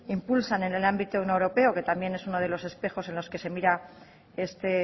impulsan en el ámbito europeo que también es uno de los espejos en los que se mira este